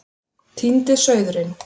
Týndi sauðurinn